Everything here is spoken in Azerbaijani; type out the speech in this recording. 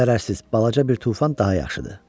Zərərsiz balaca bir tufan daha yaxşıdır.